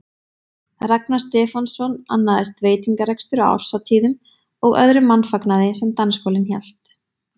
Ragnar Stefánsson, annaðist veitingarekstur á árshátíðum og öðrum mannfagnaði sem dansskólinn hélt.